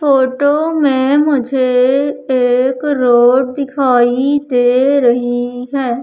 Photo में मुझे एक रोड दिखाई दे रही है।